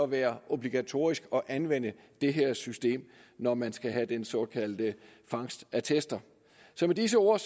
være obligatorisk at anvende det her system når man skal have de såkaldte fangstattester så med disse ord